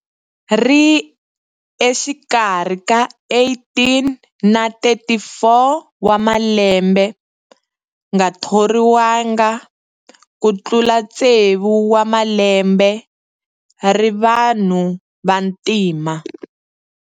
Ri exikarhi ka 18 na 34 wa malembe Nga thoriwanga ku tlula tsevu wa malembe Ri vanhu vantima.